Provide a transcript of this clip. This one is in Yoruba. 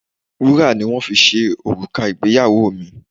Wúrà ni wón fi ṣe òrùka ìgbéyàwó mi.